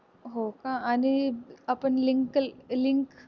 हो का आणि आपण link link